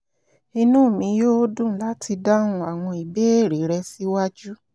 inú mi yó dùn láti dáhùn àwọn ìbéèrè rẹ síwájú